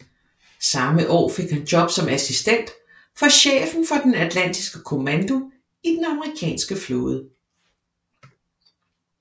Samme år fik han job som assistent for chefen for den atlantiske kommando i den den amerikanske flåde